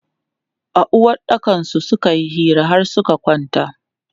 A uwaɗɗakansu suka yi hira har suka kwanta.